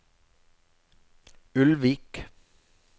Ulvik